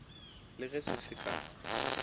le ge se se ka